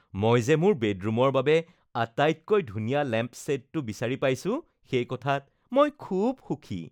মই যে মোৰ বেডৰুমৰ বাবে আটাইতকৈ ধুনীয়া লেম্পশ্বেডটো বিচাৰি পাইছো সেই কথাত মই খুব সুখী